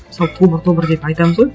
мысалы тобыр тобыр деп айтамыз ғой